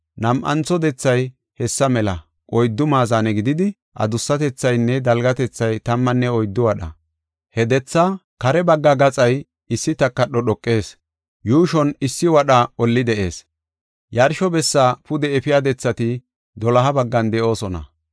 Nam7antho dethay hessa mela oyddu maazane gididi, adussatethaynne dalgatethay tammanne oyddu wadha. He dethaa kare bagga gaxay issi takadho dhoqees; yuushon issi wadha olli de7ees. Yarsho bessaa pude efiya dethati doloha baggan de7oosona.